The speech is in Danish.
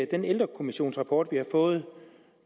den ældrekommissionsrapport vi har fået